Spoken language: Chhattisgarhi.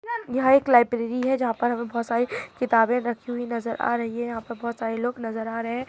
यहां एक लाइब्रेरी है जहाँ पर हमे बहुत सारे किताबे रखी हुई नज़र आ रही है यह पे बहुत सारे लोग नज़र आ रहे है